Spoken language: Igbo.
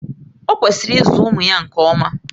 O kwesịrị ịzụ ụmụ ya nke ọma